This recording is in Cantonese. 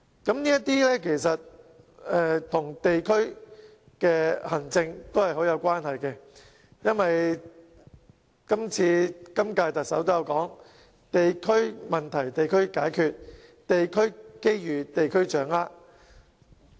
其實，這些工作與地區行政有莫大關係，正如今屆特首也指出，"地區問題地區解決，地區機遇地區掌握"。